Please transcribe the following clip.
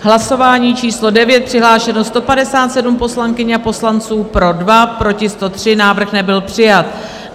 Hlasování číslo 9, přihlášeno 157 poslankyň a poslanců, pro 2, proti 103, Návrh nebyl přijat.